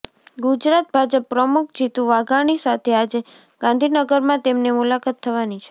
ગુજરાત ભાજપ પ્રમુખ જિતુ વાઘાણી સાથે આજે ગાંધીનગરમાં તેમની મુલાકાત થવાની છે